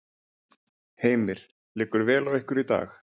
Heimir: Liggur vel á ykkur í dag?